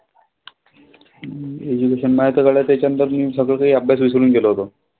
Education माझं तर झालं त्याच्या नंतर मी सगळं कांही अभ्यास विसरून गेलो होतो.